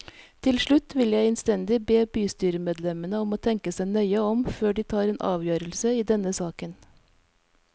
Til slutt vil jeg innstendig be bystyremedlemmene om å tenke seg nøye om før de tar en avgjørelse i denne saken.